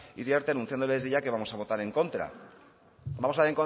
iriarte anunciándole desde ya que vamos a votar en contra vamos a